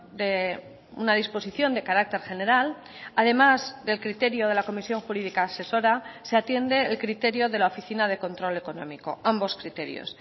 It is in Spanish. de una disposición de carácter general además del criterio de la comisión jurídica asesora se atiende el criterio de la oficina de control económico ambos criterios